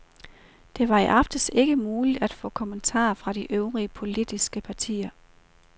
Det var i aftes ikke muligt at få kommentarer fra de øvrige politiske partier.